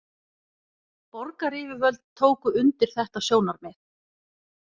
Borgaryfirvöld tóku undir þetta sjónarmið